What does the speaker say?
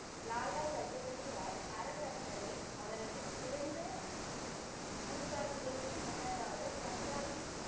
லாலா லஜபதி ராய் அறக்கட்டளை அவரது பிறந்த நூற்றாண்டுகளுக்கு முன்னதாக பஞ்சாபி